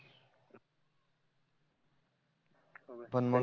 पण मग